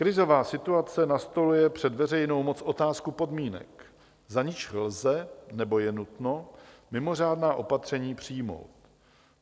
Krizová situace nastoluje před veřejnou moc otázku podmínek, za nichž lze nebo je nutno mimořádná opatření přijmout.